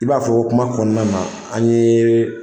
I b'a fɔ ko kuma kɔnɔna na an ye,